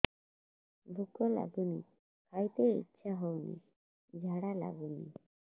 ଭୁକ ଲାଗୁନି ଖାଇତେ ଇଛା ହଉନି ଝାଡ଼ା ଲାଗୁନି